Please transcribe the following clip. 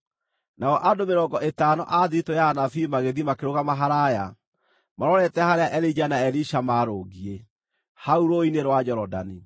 Nao andũ mĩrongo ĩtano a thiritũ ya anabii magĩthiĩ makĩrũgama haraaya, marorete harĩa Elija na Elisha maarũngiĩ, hau rũũĩ-inĩ rwa Jorodani.